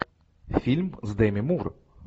фильм с деми мур